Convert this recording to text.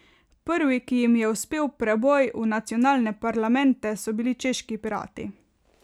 Prvi, ki jim je uspel preboj v nacionalne parlamente, so bili češki pirati.